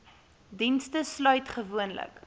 dienste sluit gewoonlik